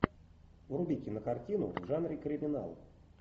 вруби кинокартину в жанре криминал